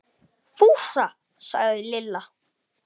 Fúsa! sagði Lilla.